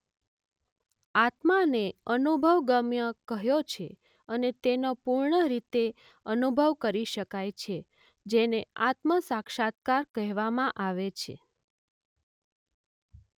આત્માને અનુભવગમ્ય કહ્યો છે અને તેનો પૂર્ણ રીતે અનુભવ કરી શકાય છે જેને આત્મ સાક્ષાત્કાર કહેવામાં આવે છે.